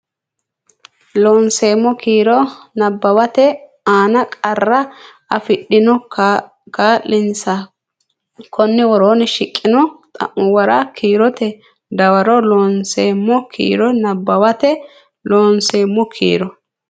Loonseemmo Kiiro nabbawate aana qarra afidhino kaa linsa konni woroonni shiqqino xa muwa kiirote dawarro Loonseemmo Kiiro nabbawate Loonseemmo Kiiro.